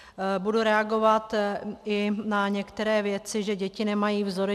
Budu reagovat i na některé věci, že děti nemají vzory.